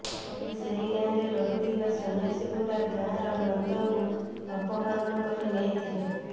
ପରେ ସେହି ଗାଁରେ ରହୁଥିବା ସନ୍ନ୍ୟାସୀଗୁଡ଼ା ଗାଁର ନନ୍ଦଙ୍କୁ ଅପହରଣ କରି ନେଇଥିଲେ